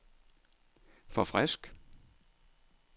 forfrisk